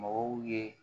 Mɔgɔw ye